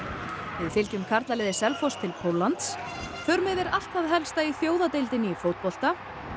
við fylgjum karlaliði Selfoss til Póllands förum yfir allt það helsta í þjóðadeildinni í fótbolta